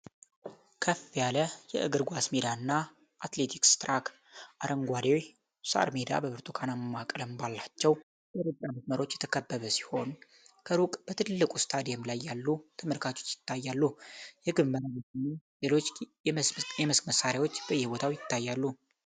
ከፍ ያለ የእግር ኳስ ሜዳና አትሌቲክስ ትራክ ። አረንጓዴው ሳር ሜዳ በብርቱካናማ ቀለም ባላቸው የሩጫ መስመሮች የተከበበ ሲሆን፣ ከሩቅ በትልቁ ስታዲየም ላይ ያሉ ተመልካቾች ይታያሉ። የግብ መረቦችና ሌሎች የመስክ መሣርያዎች በየቦታው ይታያሉ።